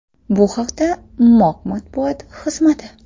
Bu haqda MOQ matbuot xizmati.